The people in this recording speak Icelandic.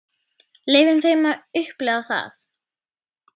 Leyfum þeim að upplifa það.